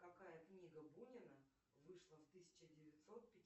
какая книга бунина вышла в тысяча девятьсот